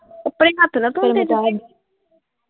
ਕੱਪੜੇ ਹੱਥ ਨਾਲ ਧੋਂਦੇ ਤੁਸੀਂ?